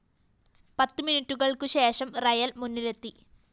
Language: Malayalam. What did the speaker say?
പത്ത് മിനിറ്റുകള്‍ക്കുശേഷം റിയൽ മുന്നിലെത്തി